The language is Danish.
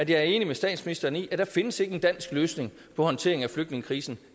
jeg er enig med statsministeren i at der ikke findes en dansk løsning på håndteringen af flygtningekrisen